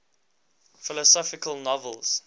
philosophical novels